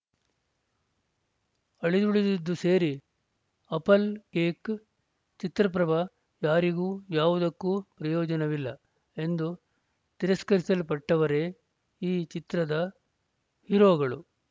ಅಳಿದುಳಿದದ್ದು ಸೇರಿ apple cake ಚಿತ್ರಪ್ರಭ ಯಾರಿಗೂ ಯಾವುದಕ್ಕೂ ಪ್ರಯೋಜನವಿಲ್ಲ ಎಂದು ತಿರಸ್ಕರಿಸಲ್ಪಟ್ಟವರೇ ಈ ಚಿತ್ರದ ಹೀರೋಗಳು